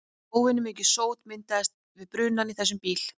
Óvenjumikið sót myndast við brunann í þessum bíl.